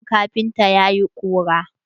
Shagon kafintan ya yi ƙura.